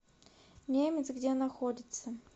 немец где находится